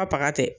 A baga tɛ